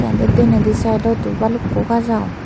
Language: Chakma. denedi saidoto balukko gaaj agon.